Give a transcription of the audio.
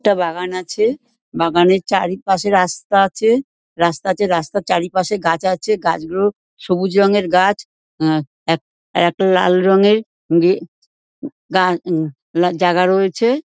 একটা বাগান আছে। বাগানের চারিপাশে রাস্তা আছে। রাস্তা আছে রাস্তার চারিপাশে গাছ আছে গাছগুলো সবুজ রঙের গাছ। উম এক এক লাল রঙের উম গে গা-উম জাগা রয়েছে --